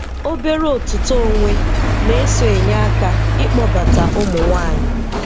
Obere otito onwe na-eso enye aka ịkpọbata ụmụ nwanyị.